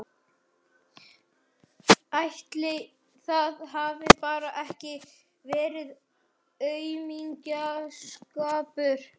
Ætli það hafi bara ekki verið aumingjaskapur.